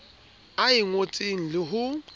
a e ngotseng le ho